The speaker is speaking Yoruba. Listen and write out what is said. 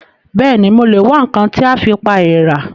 Bẹ́ẹ̀ni, mo lè wá ǹkan tí a fi pa èèrà